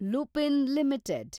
Lupin limited